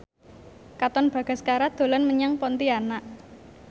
Katon Bagaskara dolan menyang Pontianak